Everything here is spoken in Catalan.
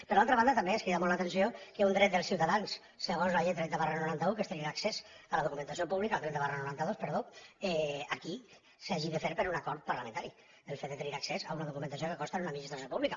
per l’altra banda també ens crida molt l’atenció que un dret dels ciutadans segons la llei trenta noranta dos que és tenir accés a la documentació pública aquí s’hagi de fer per un acord parlamentari el fet de tenir accés a una documentació que consta en una administració pública